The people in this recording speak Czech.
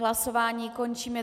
Hlasování končím.